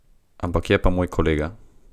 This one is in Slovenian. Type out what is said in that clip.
Ampak je pa moj kolega.